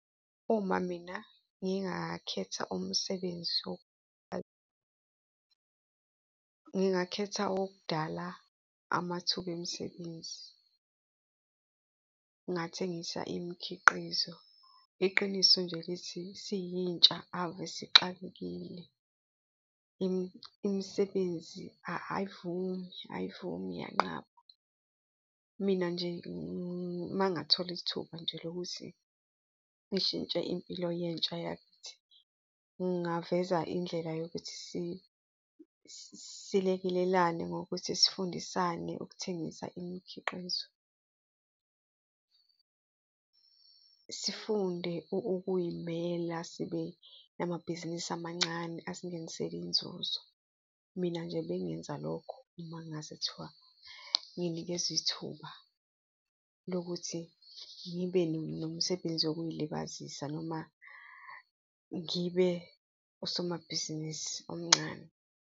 Uma mina ngingakhetha umsebenzi , ngingakhetha owokudala amathuba emisebenzi, ngingathengisa imikhiqizo. Iqiniso nje lithi siyintsha ave sixakekile, imisebenzi ayivumi, ayivumi iyanqaba. Mina nje uma ngathola ithuba nje lokuthi ngishintshe impilo yentsha yakithi, ngingaveza indlela yokuthi silekelelane ngokuthi sifundisane ukuthengisa imikhiqizo, sifunde ukuy'mela sibe namabhizinisi amancane asingenisela inzuzo. Mina nje bengenza lokho, uma kungase kuthiwa nginikezwa ithuba lokuthi ngibe nomsebenzi wokuyilibazisa noma ngibe usomabhizinisi omncane.